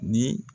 Ni